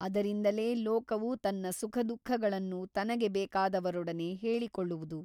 ಅದರಿಂದಲೇ ಲೋಕವು ತನ್ನ ಸುಖದುಃಖಗಳನ್ನು ತನಗೆ ಬೇಕಾದವರೊಡನೆ ಹೇಳಿಕೊಳ್ಳುವುದು.